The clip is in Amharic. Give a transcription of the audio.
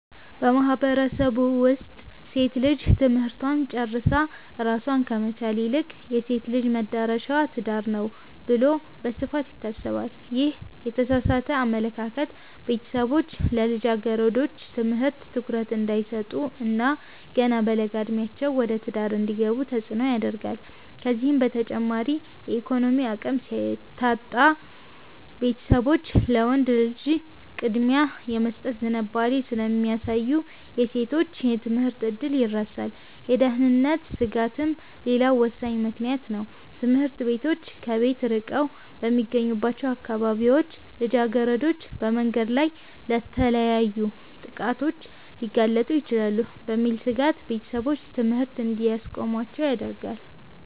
በማህበረሰቡ ውስጥ ሴት ልጅ ትምህርቷን ጨርሳ ራሷን ከመቻል ይልቅ "የሴት ልጅ መድረሻዋ ትዳር ነው" ተብሎ በስፋት ይታሰባል። ይህ የተሳሳተ አመለካከት ቤተሰቦች ለልጃገረዶች ትምህርት ትኩረት እንዳይሰጡ እና ገና በለጋ ዕድሜያቸው ወደ ትዳር እንዲገቡ ተጽዕኖ ያደርጋል። ከዚህም በተጨማሪ የኢኮኖሚ አቅም ሲታጣ፣ ቤተሰቦች ለወንድ ልጅ ቅድሚያ የመስጠት ዝንባሌ ስለሚያሳዩ የሴቶች የትምህርት ዕድል ይረሳል። የደህንነት ስጋትም ሌላው ወሳኝ ምክንያት ነው፤ ትምህርት ቤቶች ከቤት ርቀው በሚገኙባቸው አካባቢዎች ልጃገረዶች በመንገድ ላይ ለተለያዩ ጥቃቶች ሊጋለጡ ይችላሉ የሚል ስጋት ቤተሰቦች ትምህርት እንዲያስቆሟቸው ያደርጋል።